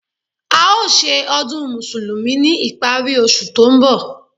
A ó ṣe ọdún Mùsùlùmí ní ìparí oṣù tó ń bọ̀